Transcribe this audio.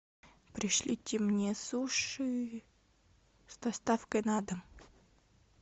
пришлите мне суши с доставкой на дом